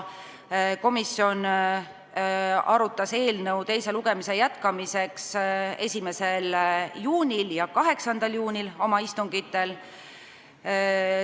Komisjon arutas eelnõu teise lugemise jätkamiseks oma 1. juuni ja 8. juuni istungil.